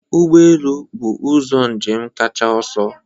Ụgbọ elu bụ ụzọ njem kacha ọsọ